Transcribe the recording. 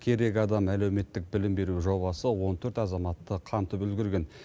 керек адам әлеуметтік білім беру жобасы он төрт азаматты қамтып үлгерген